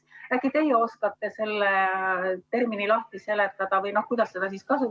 Äkki teie oskate selle termini lahti seletada?